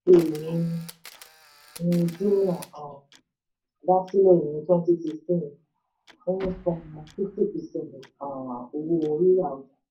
jumia um dá sílẹ̀ ní twenty sixteen ó ń sàn fifty percent um owó rira ọjà.